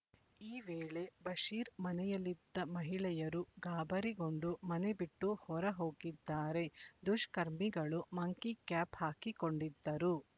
ಈ ವೇಳೆ ಬಶೀರ್ ಮನೆಯಲ್ಲಿದ್ದ ಮಹಿಳೆಯರು ಗಾಬರಿಗೊಂಡು ಮನೆಬಿಟ್ಟು ಹೊರಹೋಗಿದ್ದಾರೆ ದುಷ್ಕರ್ಮಿಗಳು ಮಂಕಿ ಕ್ಯಾಪ್ ಹಾಕಿಕೊಂಡಿದ್ದರು